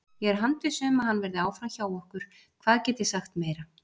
Ég er handviss um að hann verði áfram hjá okkur, hvað get ég sagt meira?